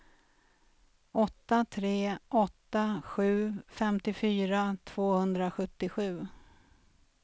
åtta tre åtta sju femtiofyra tvåhundrasjuttiosju